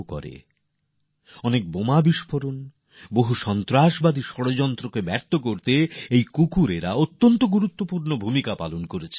কতগুলি বোমা বিফোরণ কতগুলি জঙ্গি হামলার ষড়যন্ত্র আটকানোর ক্ষেত্রে এমন কুকুরগুলি গুরুত্বপূর্ণ ভূমিকা পালন করেছে